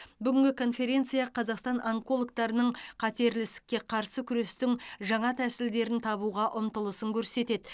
бүгінгі конференция қазақстан онкологтарының қатерлі ісікке қарсы күрестің жаңа тәсілдерін табуға ұмтылысын көрсетеді